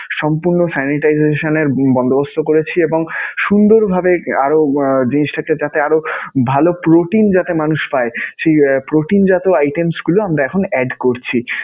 সম্পূর্ণ sanitization এর বন্দোবস্ত করেছি এবং সুন্দরভাবে আরও আহ জিনিসটাকে যাতে আরও ভালো protein যাতে মানুষ পায়, সেই protein জাতীয় items গুলো আমরা এখন add করছি.